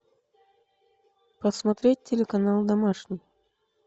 посмотреть телеканал домашний